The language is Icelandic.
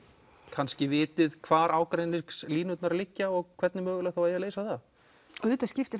kannski vitið hvar ágreiningslínurnar liggja og hvernig mögulega eigi að leysa það auðvitað skiptir